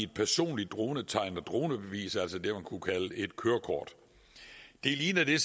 personligt dronetegn og dronebevis altså det man kunne kalde et kørekort det ligner det